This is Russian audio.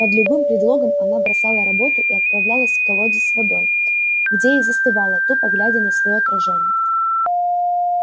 под любым предлогом она бросала работу и отправлялась к колоде с водой где и застывала тупо глядя на своё отражение